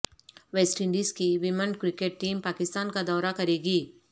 waste Indies کی women cricket team Pakistan کا دورہ کرے گی